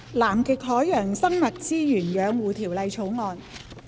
《南極海洋生物資源養護條例草案》。